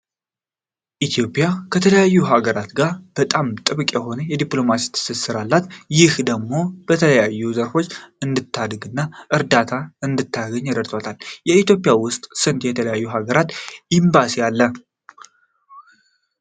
ኢትዮጵያ ከተለያዩ ሃገራት ጋር በጣም ጥብቅ የሆነ የዲፕሎማሲ ትስስር አላት። ይህም ደሞ በተለያዩ ዘርፎች እንድታድግ እና እርዳታ እንድታገኝ እረድቷታል። ኢትዮጵያ ውስጥ ስንት የተለያዩ ሃገራት ኤምባሲ አለ?